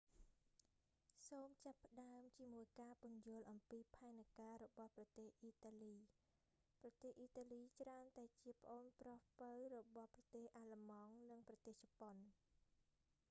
សូមចាប់ផ្តើមជាមួយការពន្យល់អំពីផែនការរបស់ប្រទេសអ៊ីតាលី ប្រទេសអ៊ីតាលីច្រើនតែជាប្អូនប្រុសពៅរបស់ប្រទេសអាល្លឺម៉ង់ និងប្រទេសជប៉ុន